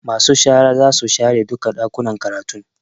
Masu shara zasu share duka Ɗakuna karatu